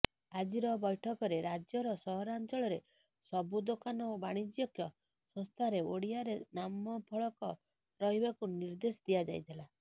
ଆଜିର ବୈଠକରେ ରାଜ୍ୟର ସହରାଞ୍ଚଳରେ ସବୁ ଦୋକାନ ଓ ବାଣିଜ୍ୟିକ ସଂସ୍ଥାରେ ଓଡ଼ିଆରେ ନାମଫଳକ ରହିବାକୁ ନିର୍ଦ୍ଦେଶ ଦିଆଯାଇଥିଲା